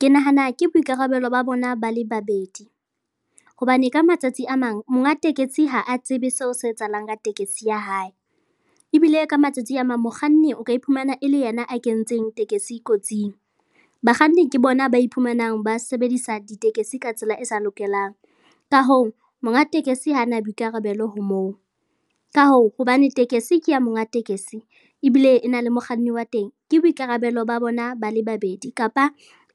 Ke nahana ke boikarabello ba bona ba le babedi hobane ka matsatsi a mang monga tekesi ha a tsebe seo se etsahalang ka tekesi ya hae ebile ka matsatsi a mang mokganni o ka iphumana e le yena a kentseng tekesi kotsing. Bakganni ke bona mme ba iphumanang ba sebedisa ditekesi ka tsela e sa lokelang, ka hoo, monga tekesi ha na boikarabello ho moo. Ka hoo, hobane tekesi ke ya monga tekesi ebile e na le mokganni wa teng, ke boikarabello ba bona ba le babedi kapa